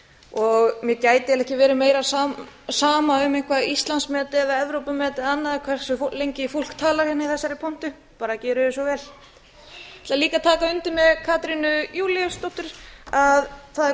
ár gæti eiginlega ekki verið meira sama um eitthvert íslandsmet eða evrópumet eða annað hversu lengi fólk talar í þessari pontu bara gjörið svo vel ég tek líka undir með katrínu jakobsdóttur það er